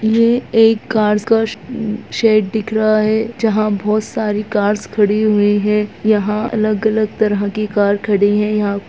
ये एक कार्स का श अम्म्म शेड दिख रहा है जहाँ बहुत सारी कार्स खड़ी हुई हैं यहाँ अलग-अलग तरह की कार खड़ी है यहाँ --